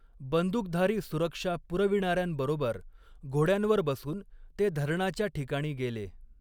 बंदुकधारी सुरक्षा पुरविणाऱ्यांबरोबर, घोड्यांवर बसून ते धरणाच्या ठिकाणी गेले.